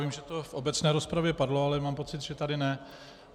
Vím, že to v obecné rozpravě padlo, ale mám pocit, že tady ne.